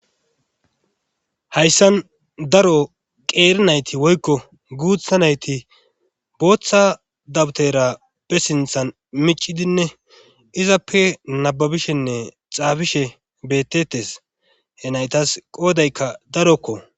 hayssan daro qeeri nayti woykko guutha nayti booththa dabutera pe sinthan micidinne izappe nababishenne xaafishe bettetes he naytas qoodaykka darokko